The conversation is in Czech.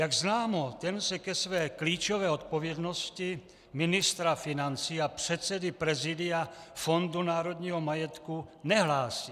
Jak známo, ten se ke své klíčové odpovědnosti ministra financí a předsedy Prezidia Fondu národního majetku nehlásí.